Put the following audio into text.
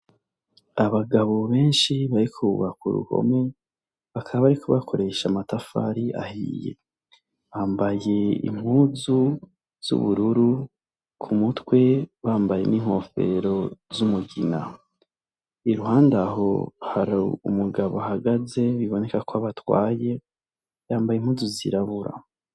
Abagabo benshi bariko bubaka uruhome, bakaba bariko bakoresha amatafari ahiye, bambaye impuzu z'ubururu, k'umutwe bambaye n'inkofero z'umugina, iruhande aho hari umugabo ahagaze biboneka kwabatwaye, yambaye impuzu zirabura.